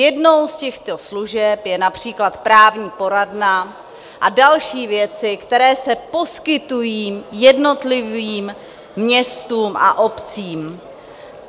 Jednou z těchto služeb je například právní poradna a další věci, které se poskytují jednotlivým městům a obcím.